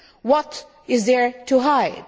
What is there to hide?